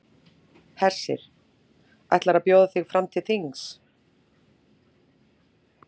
Hersir: Ætlarðu að bjóða þig fram til þings?